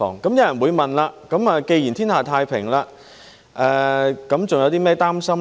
有人會問，既然天下太平，還有甚麼擔心呢？